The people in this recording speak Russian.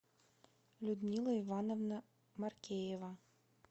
людмила ивановна маркеева